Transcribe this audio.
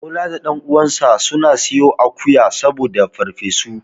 Bola da ɗan uwansa suna siyo akuwa saboda farfesu.